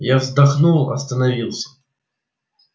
я вздохнул остановился